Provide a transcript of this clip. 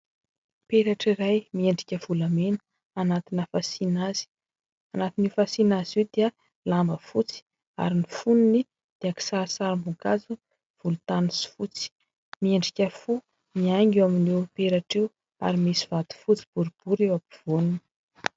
Peratra iray miendrika volamena anatina fasiana azy. Anatin'io fasiana azy io dia lamba fotsy ary ny fonony dia kisarisarim-boninkazo volontany sy fotsy. Miendrika fo ny haingo eo amin'io peratra io ary misy vato fotsy boribory eo ampovoany.